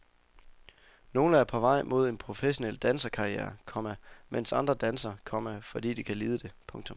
Nogle er på vej mod en professionel danserkarriere, komma mens andre danser, komma fordi de kan lide det. punktum